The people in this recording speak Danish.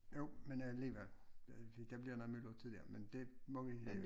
Jo men alligevel der bliver noget myldretid dér men det må vi øh